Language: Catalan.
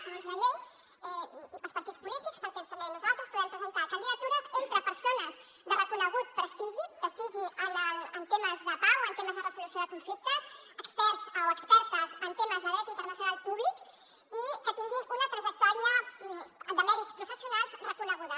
segons la llei els partits polítics per tant també nosaltres podem presentar candidatures entre persones de reconegut prestigi prestigi en temes de pau en temes de resolució de conflictes experts o expertes en temes de dret internacional públic i que tinguin una trajectòria de mèrits professionals reconeguda